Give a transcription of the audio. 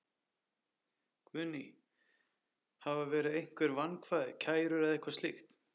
Guðný: Hafa verið einhver vankvæði, kærur eða slíkt?